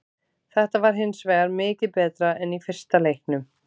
Þetta var hinsvegar mikið betra en í fyrsta leiknum.